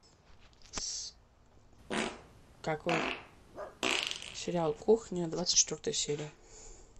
какой сериал кухня двадцать четвертая серия